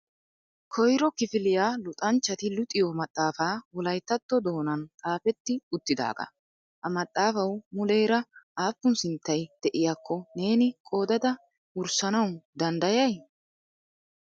Koyro kifiliya luxanchchati luxiyo maxaafa Wolayttatto doonan xaafeti uttidaaga. Ha maxafaw muleera aappun sinttay de'iyaakko neeni qoodada wurssanaw danddayay ?